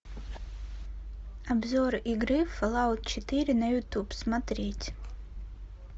обзор игры фолаут четыре на ютуб смотреть